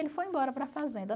Ele foi embora para a fazenda.